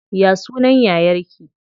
Ya sunan yayar ki?